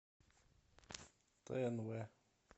тнв